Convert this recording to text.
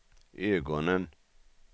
ögonen